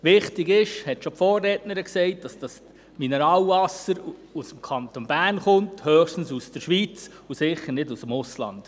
Wichtig ist, dass das Mineralwasser aus dem Kanton Bern kommt – höchstens noch aus der Schweiz und sicher nicht aus dem Ausland.